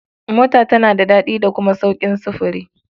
Mota tana da daɗi da kuma sauƙin sufuri.